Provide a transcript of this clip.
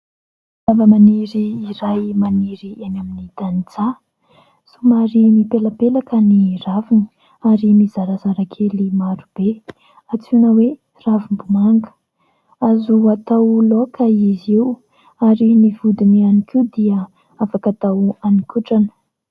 Zava-maniry iray maniry eny amin'ny tanin-tsaha. Somary mipelapelaka ny raviny ary mizarazara kely maro be, antsoina hoe ravim-bomanga. Azo atao laoka izy io ary ny vodiny ihany koa dia afaka atao haninkotrana.